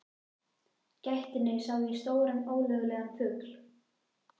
gættinni sá ég stóran ólögulegan fugl.